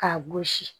K'a gosi